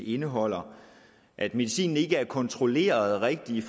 indeholder at medicinens sammensætning ikke er kontrolleret rigtigt